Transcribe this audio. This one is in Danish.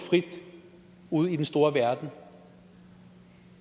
ude i den store verden